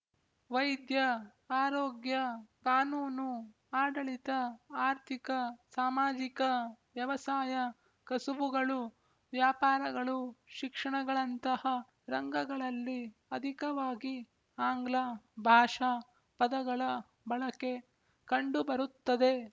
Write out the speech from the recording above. ವೈದ್ಯ ಆರೋಗ್ಯ ಕಾನೂನು ಆಡಳಿತ ಆರ್ಥಿಕ ಸಾಮಾಜಿಕ ವ್ಯವಸಾಯ ಕಸುಬುಗಳು ವ್ಯಾಪಾರಗಳು ಶಿಕ್ಷಣಗಳಂತಹ ರಂಗಗಳಲ್ಲಿ ಅಧಿಕವಾಗಿ ಆಂಗ್ಲ ಭಾಷಾ ಪದಗಳ ಬಳಕೆ ಕಂಡುಬರುತ್ತದೆ